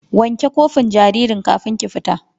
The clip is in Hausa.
Wanke kofin jaririn kafin ki fita!